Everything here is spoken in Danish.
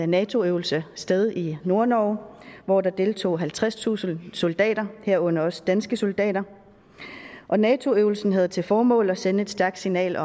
nato øvelse sted i nordnorge hvor der deltog halvtredstusind soldater herunder også danske soldater nato øvelsen havde til formål at sende et stærkt signal